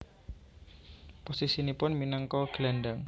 Posisinipun minangka gelandang